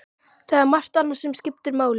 Það er margt annað sem skiptir máli.